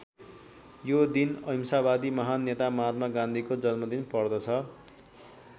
यो दिन अहिंसावादी महान् नेता महात्मा गान्धीको जन्मदिन पर्दछ।